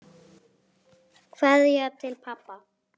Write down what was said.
En svona er það bara.